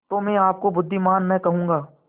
तो मैं आपको बुद्विमान न कहूँगा